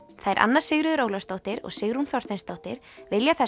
þær Anna Sigríður Ólafsdóttir og Sigrún Þorsteinsdóttir vilja þess